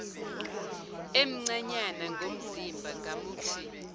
emncanyana ngomzimba ngamuthi